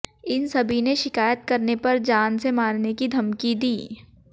इन सभी ने शिकायत करने पर जान से मारने की धमकी दी